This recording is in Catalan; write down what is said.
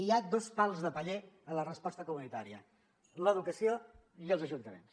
hi ha dos pals de paller en la resposta comunitària l’educació i els ajuntaments